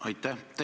Aitäh!